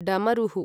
डमरुः